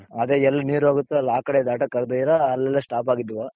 ಅದೇ ಎಲ್ ನೀರ್ ಹೋಗಿತ್ತೋ ಅಲ್ ಆ ಕಡೆ ದಟಾಕ್ಕಾಗ್ದೀರಾ ಅಲ್ಲಲ್ಲೇ stop ಆಗಿದ್ವು.